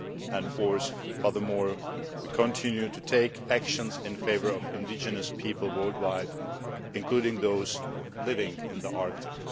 And fourthly, we continue to take action in favour of indigenous peoples worldwide, including those living in the Arctic.